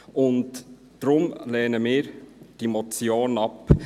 Deshalb lehnen wir diese Motion ab.